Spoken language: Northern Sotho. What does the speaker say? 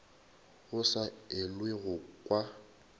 go sa elwego go kwa